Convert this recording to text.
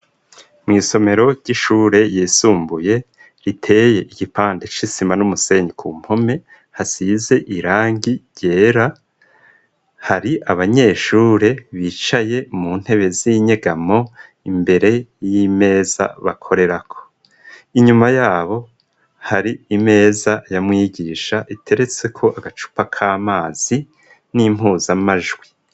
Mw'isomero ry'ishure yisumbuye riteye igipande c'isima n'umusenyi ku mpome hasize irangi ryera hari abanyeshure bicaye mu ntebe z'inyegamo imbere y'imeza bakorerako inyuma yabo hari imee eza yamwigisha iteretse ko agacupa k'amazi n'impuza amajwi.